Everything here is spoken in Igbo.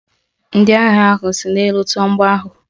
Ndị agha ahụ si n'elu tụọ mgbọ ahụ.